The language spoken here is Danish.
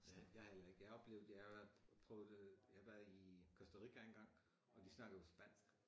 Ja jeg har heller ikke jeg har oplevet jeg har været prøvet det jeg har været i Costa Rica engang og de snakker jo spansk